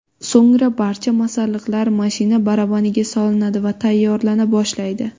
So‘ngra barcha masalliqlar mashina barabaniga solinadi va tayyorlana boshlaydi.